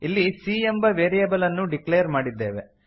ಇಲ್ಲಿ c ಎಂಬ variable ಅನ್ನು ಡಿಕ್ಲೇರ್ ಮಾಡಿದ್ದೇವೆ